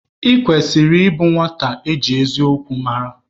Ị kwesịrị ịbụ nwata eji eziokwu mara!